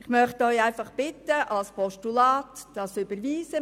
Ich möchte Sie einfach bitten, dieses Postulat zu überweisen.